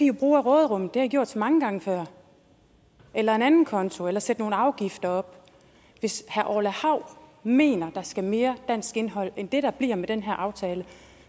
jo bruge af råderummet det har i gjort så mange gange før eller en anden konto eller sætte nogle afgifter op hvis herre orla hav mener at der skal være mere dansk indhold end det der bliver med den her aftale